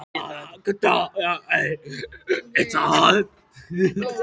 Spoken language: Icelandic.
Hvað á hann að gera ef hún kemur ekki?